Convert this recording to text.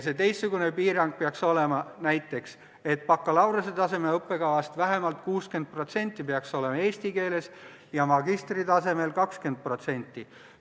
See teistsugune piirang peaks olema näiteks selline, et bakalaureusetaseme õppekavast vähemalt 60% peaks olema eesti keeles ja magistritasemel 20%.